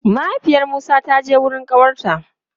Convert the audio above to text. Mahaifiyar Musa ta je wurin ƙawarta.